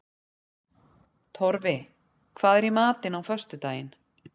Torfi, hvað er í matinn á föstudaginn?